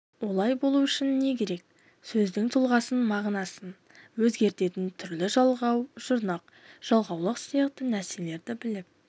олай болу үшін не керек сөздің тұлғасын мағынасын өзгертетін түрлі жалғау жұрнақ жалғаулық сияқты нәрселерді біліп